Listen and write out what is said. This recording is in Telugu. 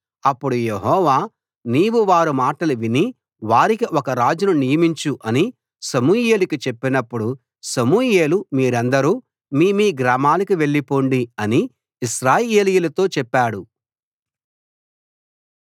అప్పుడు యెహోవా నీవు వారి మాటలు విని వారికి ఒక రాజును నియమించు అని సమూయేలుకు చెప్పినప్పుడు సమూయేలు మీరందరూ మీ మీ గ్రామాలకు వెళ్ళి పొండి అని ఇశ్రాయేలీయులతో చెప్పాడు